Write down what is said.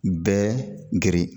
Bɛɛ geren